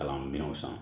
Kalan minɛnw san